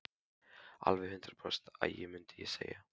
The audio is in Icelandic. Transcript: Alveg hundrað prósent agi, mundi ég segja.